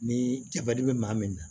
Ni bɛ maa min na